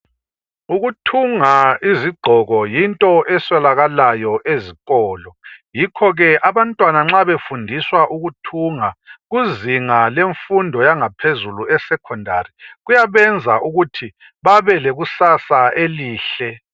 Ukuthunga izigqoko yinto eswelakalayo ezikolo. Yikho-ke abantwana nxa befundiswa ukuthunga kuzinga lemfundo yangaphezulu esecondary kuyabenza ukuthi babelekusasa elihle